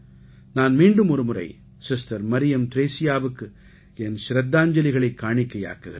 நான் மீண்டும் ஒருமுரை சிஸ்டர் மரியம் த்ரேஸியாவுக்கு என் ச்ரத்தாஞ்சலிகளை காணிக்கையாக்குகிறேன்